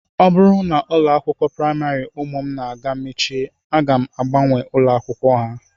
Ọ bụrụ na ụlọ akwụkwọ praịmarị ụmụ m na-aga mechie aga m agbanwe ụlọakwụkwọ ha